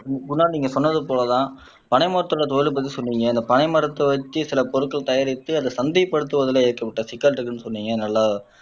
குணால் நீங்க சொன்னது போலதான் பனை மரத்தோட தொழிலுக்கு சொன்னீங்க இந்த பனை மரத்த வச்சு சில பொருட்கள் தயாரித்து அதை சந்தைப்படுத்துவதிலே ஏற்பட்ட சிக்கல் இருக்குன்னு சொன்னீங்க நல்லா